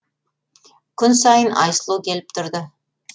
күн сайын айсұлу келіп тұрды